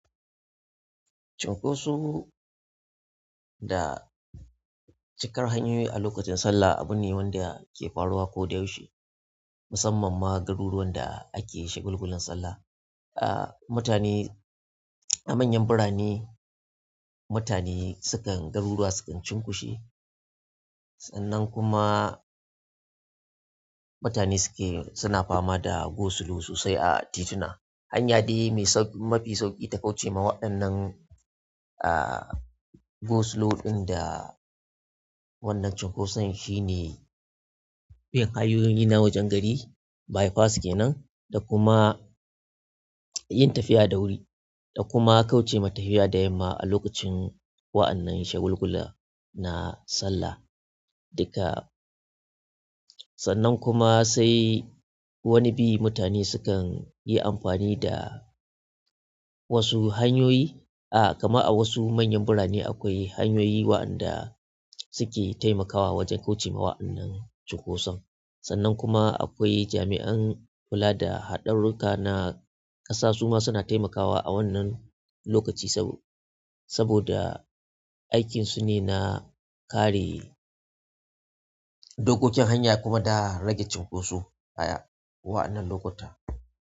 Cinkoso da cikar hanyoyi a lokacin sallah abu ne wanda ke faruwa koda yaushe, musamman ma garuruwan da ake shagulgulan sallah. A mutane a manyan burane mutane sukan garuruwa sukan cunkushe sannan kuma mutane suke suna fama da go-slow sosai a tituna. Hanya dai mai sau-- mafi sauƙi ta kauce ma waɗannan, ah, go-slow ɗin da wannan cunkoson shine bin hanyoyin na wajen gari, bypass ke nan, da kuma yin tafiya da wuri. Da kuma kauce ma tafiya da yamma a lokacin wa'annan shagulgula na Sallah. Duka sannan kuma sai wani bi mutane sukan yi amfani da wasu hanyoyi. Ah, kama a wasu manyan birane akwai hanyoyi wa'anda suke taimakawa wajen kauce ma wa'annan cunkoson. Sannan kuma akwai jami'an kula da haɗarurruka na ƙasa suma suna taimakawa a wannan lokaci sabo-saboda aikin su ne na kare dokokin hanya kuma da rage cunkoso a wa'annan lokuta.